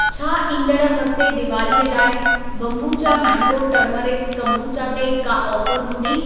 छा ईंदड़ हफ्ते दीवालीअ लाइ बोम्बुचा मैंगो टर्मरिक कोम्बुचा ते का ऑफर हूंदी?